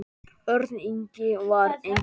Örn Ingi var engum líkur.